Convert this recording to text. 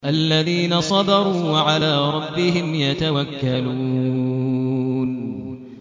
الَّذِينَ صَبَرُوا وَعَلَىٰ رَبِّهِمْ يَتَوَكَّلُونَ